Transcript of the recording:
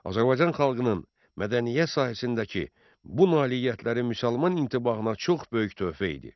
Azərbaycan xalqının mədəniyyət sahəsindəki bu nailiyyətləri müsəlman intibahına çox böyük töhfə idi.